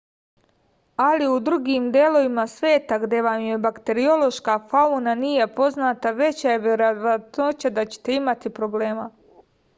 ali u drugim delovima sveta gde vam je bakteriološka fauna nije poznata veća je verovatnoća da ćete imati problema